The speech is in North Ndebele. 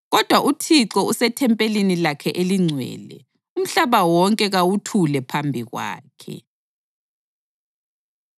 Kodwa uThixo usethempelini lakhe elingcwele; umhlaba wonke kawuthule phambi kwakhe.